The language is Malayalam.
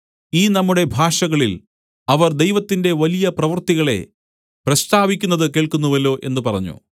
ഈ നമ്മുടെ ഭാഷകളിൽ അവർ ദൈവത്തിന്റെ വലിയ പ്രവൃത്തികളെ പ്രസ്താവിക്കുന്നത് കേൾക്കുന്നുവല്ലോ എന്ന് പറഞ്ഞു